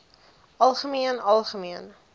algemeen algemeen